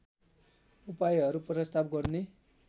उपायहरू प्रस्ताव गर्ने